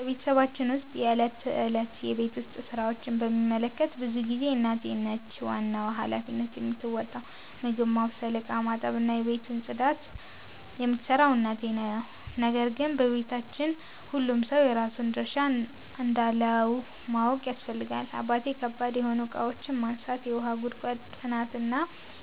በቤተሰባችን ውስጥ የዕለት ተዕለት የቤት ውስጥ ሥራዎችን በሚመለከት ብዙ ጊዜ እናቴ ነች ዋናውን ሃላፊነት የምትወጣው። ምግብ ማብሰል፣ ዕቃ ማጠብ፣ እና የቤቱን ዋና ጽዳት የምትሠራው እናቴ ነው። ነገር ግን በቤታችን ሁሉም ሰው የራሱን ድርሻ እንዳለው ማወቅ ያስፈልጋል። አባቴ ከባድ የሆኑ እቃዎችን ማንሳት፣ የውሃ ጉድጓድ ጥገና እና